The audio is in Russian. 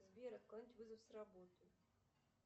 сбер отклонить вызов с работы